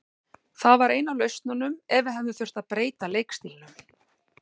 Það var ein af lausnunum ef við hefðum þurft að breyta leikstílnum.